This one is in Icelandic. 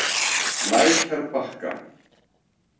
Lækjarbakka